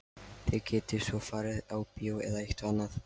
Þið getið svo farið á bíó eða eitthvað annað.